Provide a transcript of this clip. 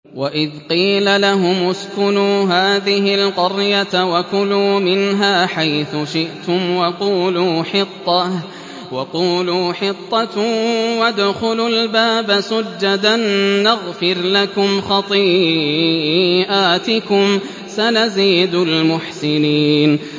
وَإِذْ قِيلَ لَهُمُ اسْكُنُوا هَٰذِهِ الْقَرْيَةَ وَكُلُوا مِنْهَا حَيْثُ شِئْتُمْ وَقُولُوا حِطَّةٌ وَادْخُلُوا الْبَابَ سُجَّدًا نَّغْفِرْ لَكُمْ خَطِيئَاتِكُمْ ۚ سَنَزِيدُ الْمُحْسِنِينَ